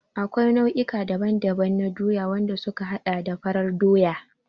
Akwai nau'i daban-daban na Doya, wanda suka haɗa da farar Doya.